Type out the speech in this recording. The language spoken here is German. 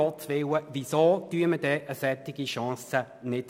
Um Gottes Willen, weshalb nutzen wir eine derartige Chance nicht?